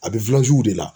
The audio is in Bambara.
A bɛ de la